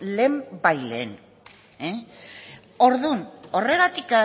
lehenbailehen orduan horregatik